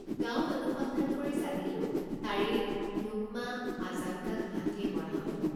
গাঁৱত অনুসন্ধান কৰি জানিলোঁ তাৰেই নোক্মা আজাংগাক হাতীয়ে মৰা হয়।